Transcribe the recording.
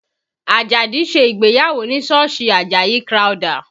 Ajadi ṣe ìgbéyàwó ní sọ́ọ̀sì Àjàyí Crowther